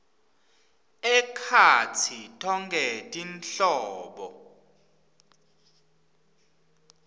ekhatsi tonkhe tinhlobo